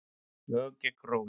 Lög gegn rógi